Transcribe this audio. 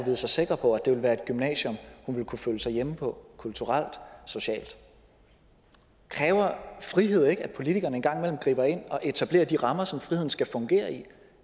vide sig sikker på at det ville være et gymnasium hun ville kunne føle sig hjemme på kulturelt socialt kræver frihed ikke at politikerne en gang imellem griber ind og etablerer de rammer som friheden skal fungere i